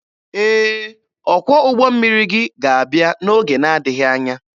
Ee, ọkwọ ụgbọ mmiri gị ga-abịa n'oge na-adịghị anya.